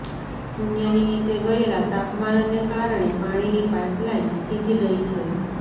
શૂન્યની નીચે ગયેલા તાપમાનને કારણે પાણીની પાઇપલાઇન થીજી ગઇ છે